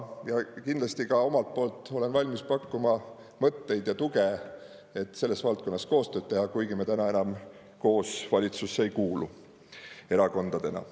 Ja kindlasti ka omalt poolt olen valmis pakkuma mõtteid ja tuge, et selles valdkonnas koostööd teha, kuigi me täna enam koos valitsusse ei kuulu erakondadena.